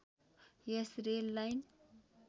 yes rail line